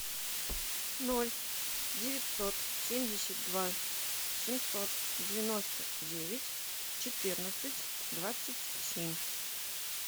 ноль девятьсот семьдесят два семьсот девяносто девять четырнадцать двадцать семь